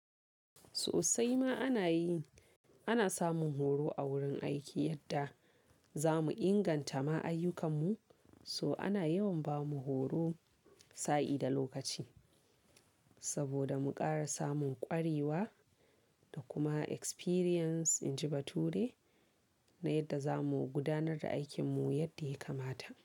Sosai ma ana yi, ana samun horo a wurin aiki yadda za mu inganta ma ayyukanmu. So ana yawan ba mu horo, sa'i da lokaci saboda mu ƙara samun ƙwarewa da kuma experience inji bature na yadda za mu gudanar da aikinmu yadda ya kamata.